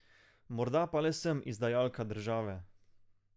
Morda pa le sem izdajalka države.